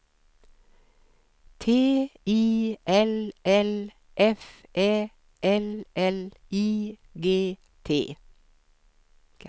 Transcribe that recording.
T I L L F Ä L L I G T